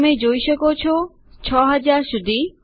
તમે જોઈ શકો છો 6000 સુધી